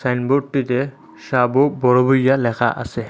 সাইনবোর্ডটিতে সাবু বড়ভাইয়া লেখা আছে।